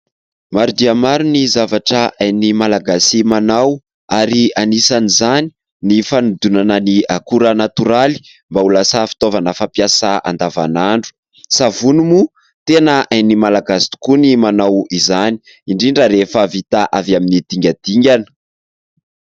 Maro dia maro ny zavatra hain'ny Malagasy manao, ary anisan'izany ny fanodonana ny akora natoraly mba ho lasa fitaovana fampiasa andavanandro. Savony moa ! Tena hain'ny Malagasy tokoa ny manao izany, indrindra rehefa vita avy amin'ny dingadingana.